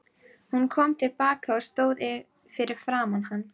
Hún kom til baka og stóð fyrir framan hann.